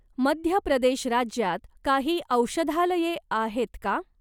मध्य प्रदेश राज्यात काही औषधालये आहेत का?